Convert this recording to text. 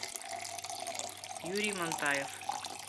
юрий монтаев